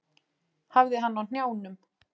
Hafði hann á hnjánum.